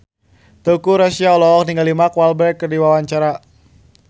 Teuku Rassya olohok ningali Mark Walberg keur diwawancara